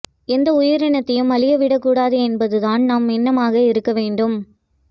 எந்த உயிரினத்தையும் அழிய விடக்கூடாது என்பது நம் எண்ணமாக இருக்க வேண்டும்